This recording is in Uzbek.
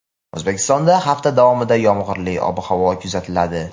O‘zbekistonda hafta davomida yomg‘irli ob-havo kuzatiladi.